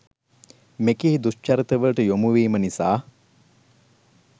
මෙකී දුශ්චරිතවලට යොමුවීම නිසාය.